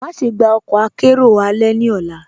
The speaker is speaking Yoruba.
Máṣẹ̀ gbà ọkọ àkẹ̀rẹo alẹ̀ ní ọ̀là.